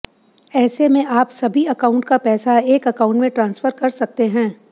ऐसे में आप सभी अकाउंट का पैसा एक अकाउंट में ट्रांसफर कर सकते हैं